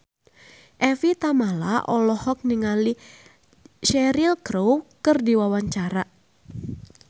Evie Tamala olohok ningali Cheryl Crow keur diwawancara